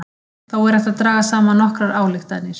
Þó er hægt að draga saman nokkrar ályktanir.